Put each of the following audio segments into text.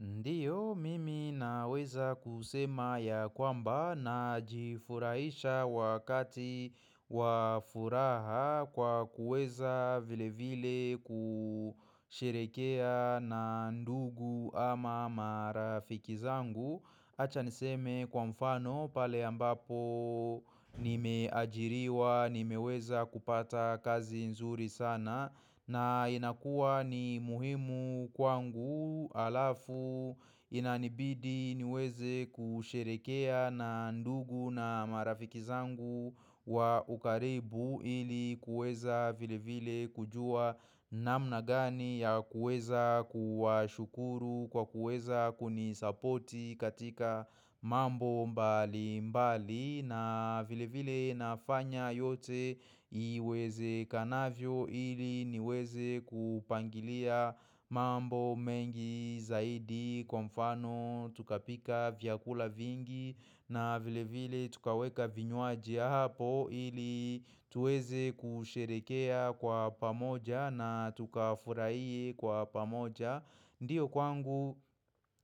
Ndiyo, mimi naweza kusema ya kwamba najifurahisha wakati wa furaha kwa kuweza vile vile kusherehekea na ndugu ama marafiki zangu. Acha niseme kwa mfano pale ambapo nimeajiriwa nimeweza kupata kazi nzuri sana na inakuwa ni muhimu kwangu alafu inanibidi niweze kusherehekea na ndugu na marafiki zangu wa ukaribu ili kuweza vile vile kujua namna gani ya kuweza kuwashukuru kwa kuweza kunisapoti katika mambo mbali mbali na vile vile nafanya yote iwezekanavyo ili niweze kupangilia mambo mengi zaidi kwa mfano tukapika vyakula vingi na vile vile tukaweka vinywaji hapo ili tuweze kusherehekea kwa pamoja na tukafuhiye kwa pamoja Ndiyo kwangu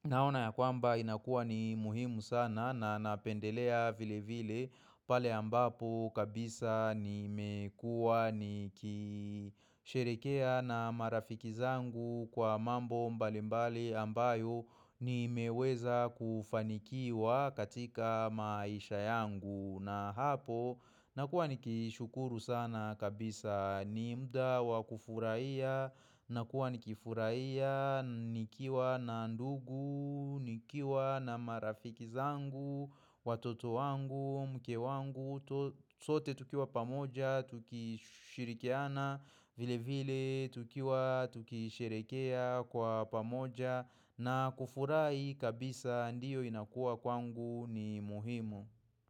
naona ya kwamba inakuwa ni muhimu sana na napendelea vile vile pale ambapo kabisa nimekuwa nikisherehekea na marafiki zangu kwa mambo mbali mbali ambayo nimeweza kufanikiwa katika maisha yangu. Na hapo, nakuwa nikishukuru sana kabisa ni mda wa kufurahiya, nakuwa nikifurahiya, nikiwa na ndugu, nikiwa na marafiki zangu, watoto wangu, mke wangu, sote tukiwa pamoja, tukishirikiana, vile vile, tukiwa, tuki sherehekea kwa pamoja, na kufurahi kabisa ndiyo inakuwa kwangu ni muhimu.